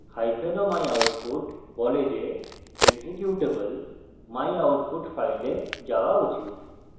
o myoutput বলে যে executable myoutput file যাওয়া উচিত